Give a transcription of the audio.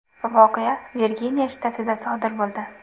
Voqea Virginiya shtatida sodir bo‘ldi.